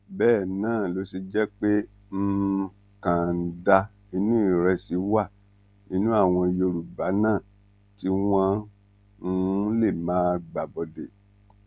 bẹẹ náà ló ṣe jẹ pé um kànńdá inú ìrẹsì wà nínú àwọn yorùbá náà tí wọn um lè máa gbàbọdè